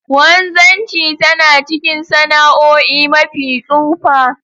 wanzanchi tana ckin sana'oi mafi tsufa.